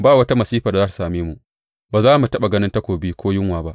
Ba wata masifar da za tă same mu; ba za mu taɓa ganin takobi ko yunwa ba.